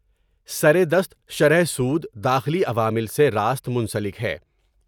سر دست شرح سود داخلی عوامل سے راست منسلک ہے ۔